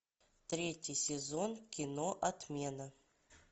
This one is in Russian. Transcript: третий сезон кино отмена